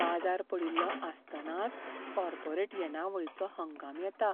बाजार पडिल्लो आसतनाच कॉर्पोरेट येणावळीचो हंगाम येता